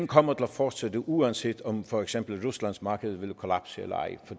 kommer til at fortsætte uanset om for eksempel ruslands marked vil kollapse eller ej